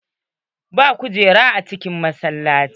Babu kujeru a cikin masallaci.